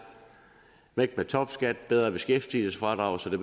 væk med topskat bedre beskæftigelsesfradrag så det